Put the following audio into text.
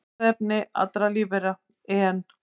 Erfðaefni allra lífvera, en